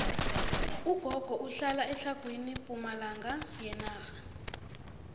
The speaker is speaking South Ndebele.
ugogo uhlala etlhagwini pumalanga yenarha